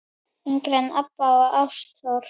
yngri Ebba og Ástþór.